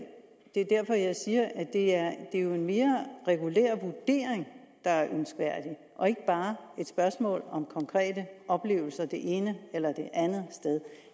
det er derfor jeg siger at det jo er en mere regulær vurdering der er ønskværdig og ikke bare et spørgsmål om konkrete oplevelser det ene eller det andet sted